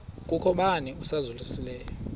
kukho bani uzalusileyo